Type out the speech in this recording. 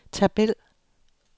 tabel